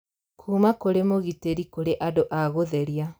Kuuma kũrĩ mũgitĩri kũrĩ andũ a gũtheria